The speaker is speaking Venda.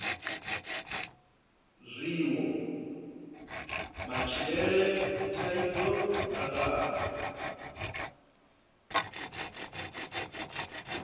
zwiwo matshilele dzithaidzo mutakalo